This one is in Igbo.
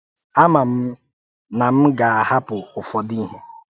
Amà m na m gà-ahàpụ̀ ụfọdụ ihe.